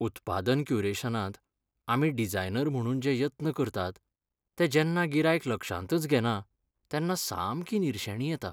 उत्पादन क्युरेशनांत आमी डिझायनर म्हणून जे यत्न करतात ते जेन्ना गिरायक लक्षांतच घेना तेन्ना सामकी निरशेणी येता.